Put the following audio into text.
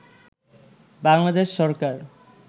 Bangladesh Sarkar